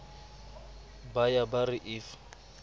ba ya ba re if